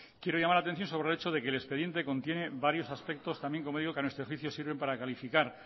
quiero llamar la atención sobre el hecho de que el expediente contiene varios aspectos también como digo que a nuestro juicio sirven para calificar